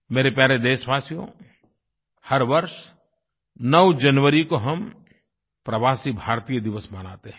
मेरे प्यारे देशवासियो हर वर्ष 9 जनवरी को हम प्रवासी भारतीय दिवस मनाते हैं